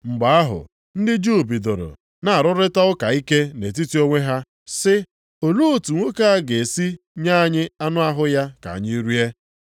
Mgbe ahụ, ndị Juu bidoro na-arụrịta ụka ike nʼetiti onwe ha sị, “Olee otu nwoke a ga-esi nye anyị anụ ahụ ya ka anyị rie?”